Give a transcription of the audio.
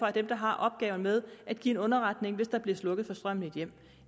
er dem der har opgaven med at give underretning hvis der bliver slukket for strømmen i et hjem